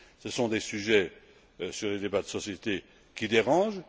Ce sont des sujets sur les débats de sociétés qui dérangent.